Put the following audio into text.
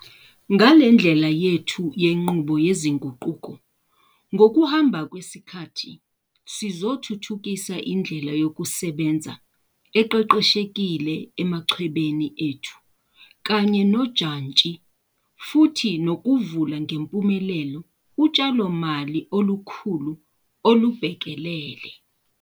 Ngale ndlela yethu yenqubo yezinguquko ngokuhamba kwesikhathi sizothuthukisa indlela yokusebenza eqeqeshekile emachwebeni ethu kanye nojantshi futhi nokuvula ngempumelelo utshalomali olukhulu olubhekelele.